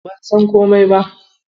Ban san komai ba.